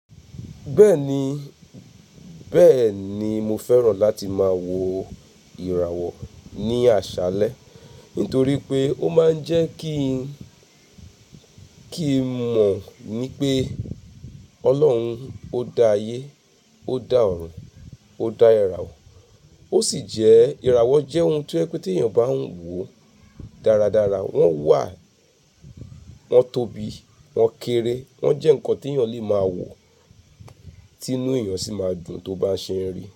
Bẹ́ẹ̀ni, bẹ́ẹ̀ni mo fẹ́ràn láti máa wo ìràwọ̀ ní àṣálẹ́ nítorí pé ó máa ń jẹ́ kí ń, kí n mọ̀ ní pé Ọlọ́run ó dá ayé, ó dá ọ̀run, ó dá ìràwọ̀. Ó sì jẹ́ ìràwọ̀ jẹ́ ohun tí ẹ pé tí èèyàn bá ń wò dáradára, wọ́n wà, wọ́n tóbi, wọ́n kéré, wọ́n jẹ́ nǹkan tí èèyàn lè máa wò, tí inú èèyàn sì máa dùn tó bá ṣe ń rí.